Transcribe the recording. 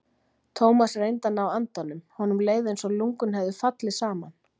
Thomas reyndi að ná andanum, honum leið einsog lungun hefðu fallið saman.